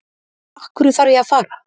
Af hverju þarf ég að fara?